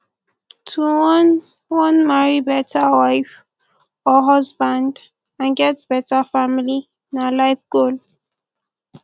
to wan wan marry better wife or husband and get bettr family na life goal